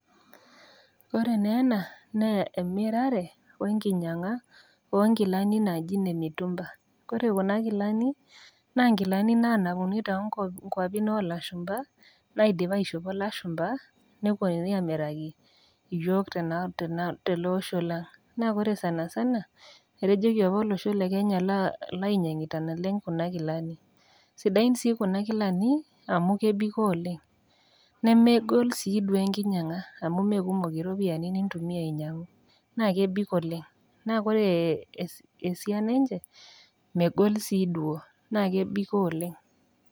Ore nee ena na emirare wenkinyaga onkilani naji nemutumba, ore kun kilani naa ngilani naanapuni tonkuapi olashumba naidipa aishopo lashumba ,neeponunui amiraki yiok teleosho le kenya, na ore sanasana etejoki ore apa olosho le kenya naa ninche olyiangiita ,sidain sii kuna kilani amu kebiko oleng nemebikoo oleng enkinyanga amu kekumok ropiyiani nainyangunyieki na kebik oleng na ore ee ee esai ninche megol si duo na kebikoo oleng?